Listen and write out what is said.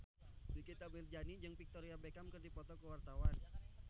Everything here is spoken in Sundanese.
Nikita Mirzani jeung Victoria Beckham keur dipoto ku wartawan